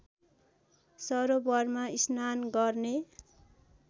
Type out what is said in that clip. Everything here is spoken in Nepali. सरोबरमा स्नान गर्ने